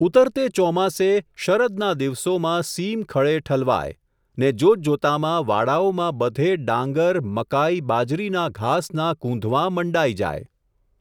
ઊતરતે ચોમાસે, શરદના દિવસોમાં સીમ ખળે ઠલવાય, ને જોતજોતામાં વાડાઓમાં બધે ડાંગર ,મકાઈ, બાજરીના ઘાસનાં કૂંધવાં મંડાઈ જાય.